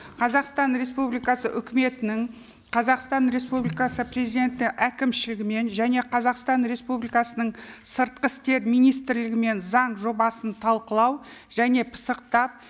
қазақстан республикасы үкіметінің қазақстан республикасы президенті әкімшілігімен және қазақстан республикасының сыртқы істер министрлігімен заң жобасын талқылау және пысықтап